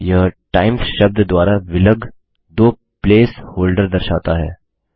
यह टाइम्स शब्द द्वारा विलग दो प्लेस होल्डर दर्शाता है